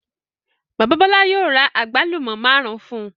Bàbá Bọ́lá yóò ra àgbálù ọ́ márùn-ún fún un.